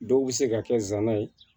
Dɔw bɛ se ka kɛ zana ye